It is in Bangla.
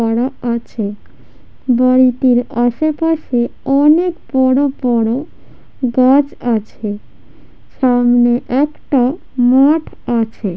পাড়া আছে বাড়িটির আসে পাশে অ-অনেক বড় বড় গাছ আছে সামনে একটা মাঠ আছে।